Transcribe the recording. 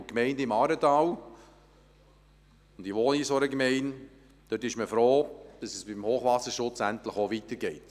In den Gemeinden im Aaretal – ich wohne in einer solchen Gemeinde – ist man froh, dass es beim Hochwasserschutz endlich auch weitergeht.